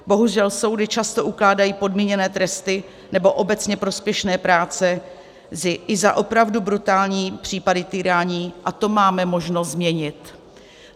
Bohužel soudy často ukládají podmíněné tresty nebo obecně prospěšné práce i za opravdu brutální případy týrání a to máme možnost změnit.